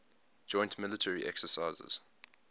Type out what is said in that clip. joint military exercises